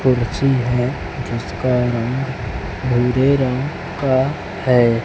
कुर्सी है जिसका रंग भूरे रंग का है।